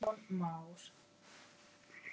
Vefsíða hans geymir þann vefnað.